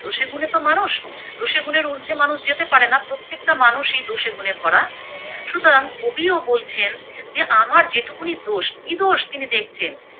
দোষে গুণে তো মানুষ, দোষে গুণের উর্দ্ধে মানুষ যেতে পারেনা, প্রত্যেকটা মানুষই দোষে গুণে ভরা সুতরাং কবিও বলছেন আমার যেটুকুনি দোষ কি দোষ তিনি দেখছেন।